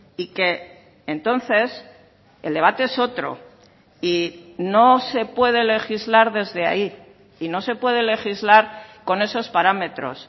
y que entonces el debate es otro y no se puede legislar desde ahí y no se puede legislar con esos parámetros